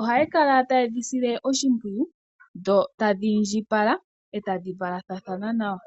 ohaya kala taye dhi sile oshimpwiyu dho ta dhiindjipala e tadhi valathana nawa.